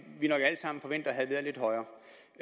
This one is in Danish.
forventer havde været lidt højere